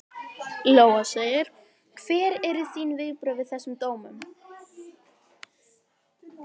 Lóa: Hver eru þín viðbrögð við þessum dómum?